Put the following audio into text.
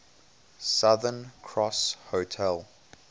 southern cross hotel